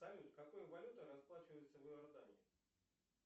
салют какой валютой расплачиваются в иордании